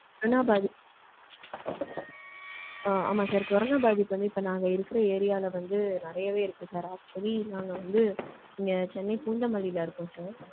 ஆனா, வரும் ஆமா sir கொரோனா பாதிப்பு வந்து இப்போ நாங்க இருக்க area ல வந்து நெறையவே இருக்கு sir. actually நாங்க வந்து இங்க சென்னை பூந்தமல்லில இருக்கோம் sir.